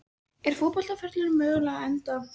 Er fótboltaferillinn mögulega á enda?